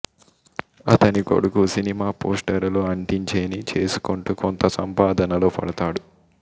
అతని కొడుకు సినిమా పోస్టరులు అంటించే ని చేసుకొంటూ కొంత సంపాదనలో పడతాడు